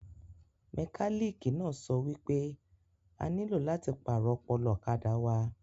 Mẹkálíkì náà sọ wípé a nílò láti pàrọ̀ ọpọlọ ọ̀kadà wa